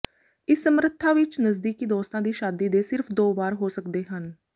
ਇਸ ਸਮਰੱਥਾ ਵਿਚ ਨਜ਼ਦੀਕੀ ਦੋਸਤਾਂ ਦੀ ਸ਼ਾਦੀ ਦੇ ਸਿਰਫ ਦੋ ਵਾਰ ਹੋ ਸਕਦੇ ਹਨ